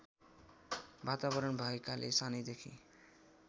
वातावरण भएकाले सानैदेखि